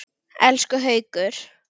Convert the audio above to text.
Elsku Haukur!